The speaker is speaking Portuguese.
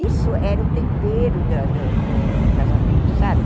Isso era o tempero da da do casamento, sabe?